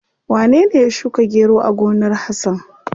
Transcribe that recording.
Wanene ya shuka gero a gonar Hasan?